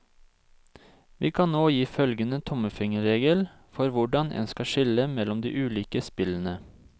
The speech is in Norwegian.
Vi kan nå gi følgende tommelfingerregel for hvordan en skal skille mellom de ulike spillene.